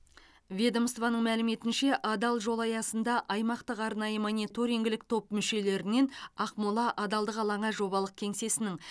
ведомствоның мәліметінше адал жол аясында аймақтық арнайы мониторингілік топ мүшелерінен ақмола адалдық алаңы жобалық кеңсесінің